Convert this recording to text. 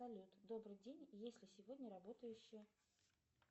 салют добрый день есть ли сегодня работающая